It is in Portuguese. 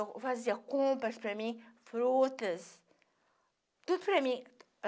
Eu fazia compras para mim, frutas, tudo para mim.